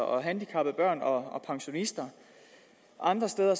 og handicappede børn og pensionister andre steder